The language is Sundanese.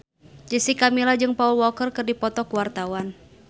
Jessica Milla jeung Paul Walker keur dipoto ku wartawan